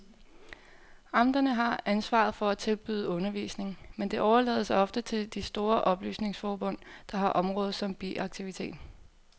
Amterne har ansvaret for at tilbyde undervisning, men det overlades ofte til de store oplysningsforbund, der har området som biaktivitet.